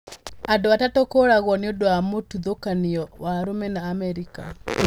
Andũ atatũ kũũragwo nĩ ũndũ wa mũthutũkanio wa rũmena Amerika